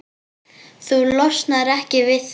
Þú losnar ekki við það.